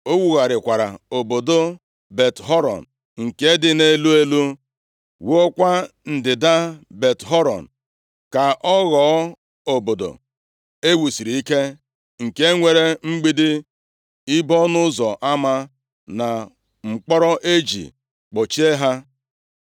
O wugharịkwara obodo Bet-Horon nke dị nʼelu elu, wuokwa Ndịda Bet-Horon ka ọ ghọọ obodo e wusiri ike nke nwere mgbidi, ibo ọnụ ụzọ ama na mkpọrọ e ji kpọchie ha.